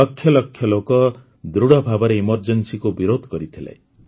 ଲକ୍ଷ ଲକ୍ଷ ଲୋକ ଦୃଢ଼ ଭାବରେ Emergencyକୁ ବିରୋଧ କରିଥିଲେ